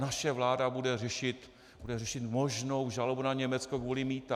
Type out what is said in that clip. Naše vláda bude řešit možnou žalobu na Německo kvůli mýtu.